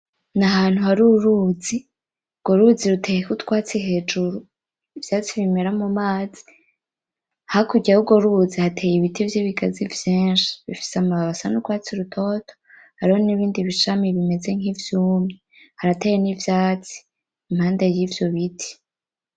N'ahantu haruruzi, urwo ruzi ruteyeko utwatsi hejuru, ivyatsi bimera mumazi. Hakurya yurwo ruzi hateye ibiti vyibigazi vyinshi. Bifise amababi asa nurwatsi rutoto. Hariho n'ibindi bishami bisa nkivyumye. Harateye nivyatsi impande yivyo biti.